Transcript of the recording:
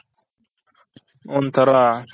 ಒಂತರ